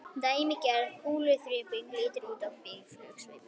Dæmigerð kúluþyrping lítur út svipað og býflugnasveimur.